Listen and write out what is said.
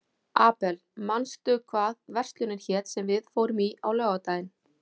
Abel, manstu hvað verslunin hét sem við fórum í á laugardaginn?